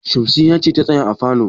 Shamsiyya ce ta tsaya a falo.